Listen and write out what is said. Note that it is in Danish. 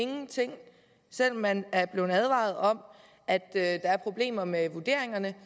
ingenting selv om man er blevet advaret om at der er problemer med vurderingerne